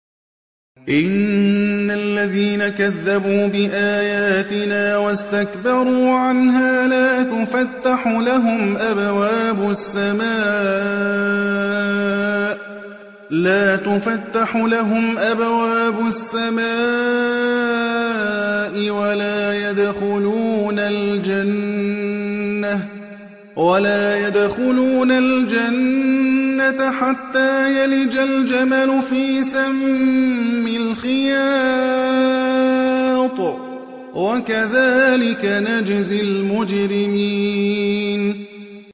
إِنَّ الَّذِينَ كَذَّبُوا بِآيَاتِنَا وَاسْتَكْبَرُوا عَنْهَا لَا تُفَتَّحُ لَهُمْ أَبْوَابُ السَّمَاءِ وَلَا يَدْخُلُونَ الْجَنَّةَ حَتَّىٰ يَلِجَ الْجَمَلُ فِي سَمِّ الْخِيَاطِ ۚ وَكَذَٰلِكَ نَجْزِي الْمُجْرِمِينَ